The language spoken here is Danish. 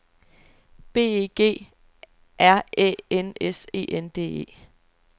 B E G R Æ N S E N D E